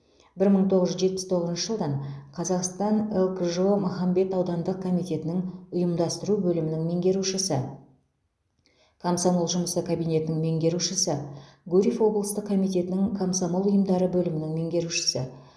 бір мың тоғыз жүз жетпіс тоғызыншы жылдан қазақстан лкжо махамбет аудандық комитетінің ұйымдастыру бөлімінің меңгерушісі комсомол жұмысы кабинетінің меңгерушісі гурьев облыстық комитетінің комсомол ұйымдары бөлімінің меңгерушісі